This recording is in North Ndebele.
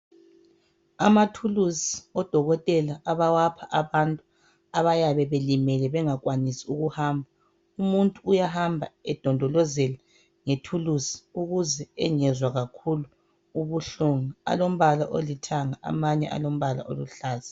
Amathulusi odokotela abawapha abantu abayabe belimele bengakwanisi ukuhamba. Umuntu uyahamba edondolozela ngethulusi ukuze engezwa kakhulu ubuhlungu. Alombala olithanga amanye alombala oluhlaza.